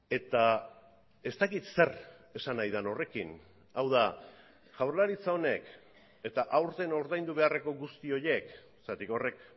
eta ez dakit zer esan nahi den horrekin hau da jaurlaritza honek eta aurten ordaindu beharreko guzti horiek zergatik horrek